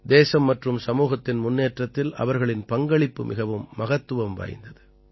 தேசம் மற்றும் சமூகத்தின் முன்னேற்றத்தில் அவர்களின் பங்களிப்பு மிகவும் மகத்துவம் வாய்ந்தது